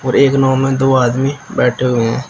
एक नाव में दो आदमी बैठे हुए हैं।